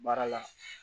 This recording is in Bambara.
Baara la